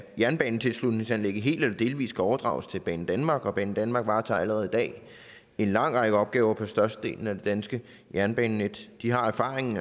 jernbanetilslutningsanlægget helt eller delvist skal overdrages til banedanmark og banedanmark varetager allerede i dag en lang række opgaver på størstedelen af det danske jernbanenet de har erfaringen